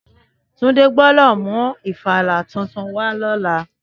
Túndé gbọ́dọ̀ mú ìfàlà titun wá lọ́la.